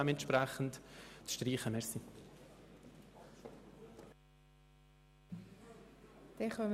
Dementsprechend bitte ich Sie, diese Artikel zu streichen.